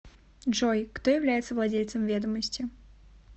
джой кто является владельцем ведомости